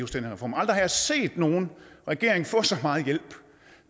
reform aldrig har jeg set nogen regering få så meget hjælp